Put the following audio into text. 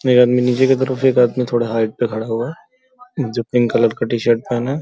एक आदमी नीचे की तरफ एक आदमी थोड़ा हाइट पे खड़ा हुआ जो पिंक कलर का टी-शर्ट पहने --